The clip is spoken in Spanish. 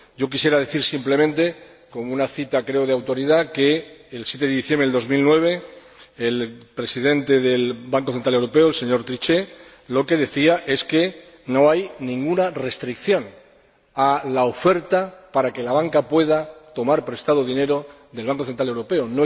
Quisiera decir simplemente, como cita creo de autoridad, que el 7 de diciembre de 2009, el Presidente del Banco Central Europeo, el señor Trichet, decía que no hay ninguna restricción a la oferta para que la banca pueda tomar prestado dinero del Banco Central Europeo.